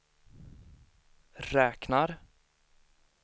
räknar